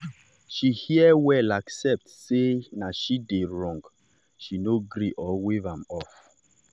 she hear well accept sey na she dey wrong she no argue or wave am off.